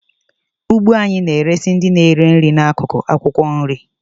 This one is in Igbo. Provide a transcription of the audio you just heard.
Ugbo anyị na-eresị ndị na-eri nri n'akụkụ akwụkwọ nri.